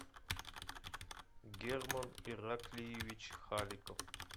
герман ираклиевич халиков